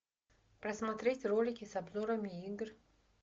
просмотреть ролики с обзорами игр